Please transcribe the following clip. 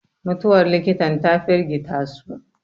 mutuwar likitan ta firgita su